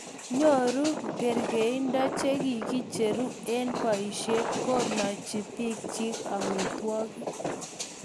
Nyoru ang'erindo che kikicheru eng' boisie ko nachi biikchich amitwigik